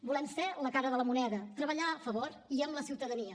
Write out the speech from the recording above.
volem ser la cara de la moneda treballar a favor i amb la ciutadania